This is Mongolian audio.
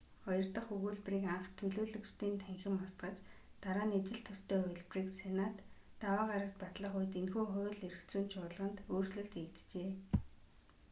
хоёр дах өгүүлбэрийг анх төлөөлөгчдийн танхим устгаж дараа нь ижил төстэй хувилбарыг сенат даваа гарагт батлах үед энэхүү хууль эрх зүйн чуулганд өөрчлөлт хийгджээ